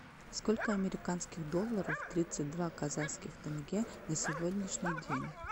сколько американских долларов тридцать два казахских тенге на сегодняшний день